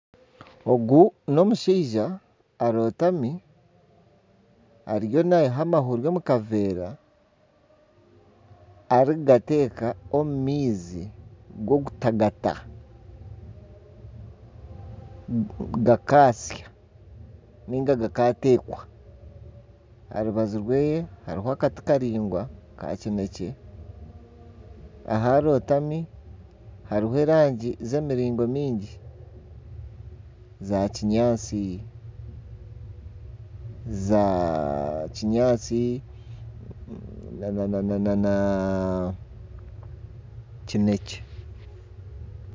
Ogu n'omushaija arotami ariyo nayiha amahuri omu kaveera, arikugata omu maizi garikutagata gakasya ninga gakateekwa, aha rubaju rwe hariho akati karaingwa kakinekye aharotami hariho erangi z'emiringo mingi zakinyaatsi nana kinekye.